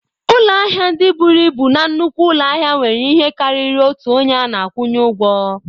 Ụlọ ahịa ndị buru ibu na nnukwu ụlọ ahịa nwere ihe karịrị otu onye a na-akwụnye ụgwọ.